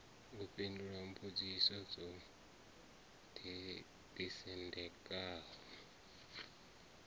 u fhindula mbudziso dzo ḓisendekaho